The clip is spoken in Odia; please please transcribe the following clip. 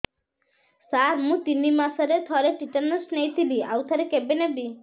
ସାର ମୁଁ ତିନି ମାସରେ ଥରେ ଟିଟାନସ ନେଇଥିଲି ଆଉ ଥରେ କେବେ ନେବି